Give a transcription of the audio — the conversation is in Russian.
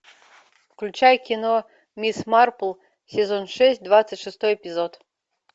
включай кино мисс марпл сезон шесть двадцать шестой эпизод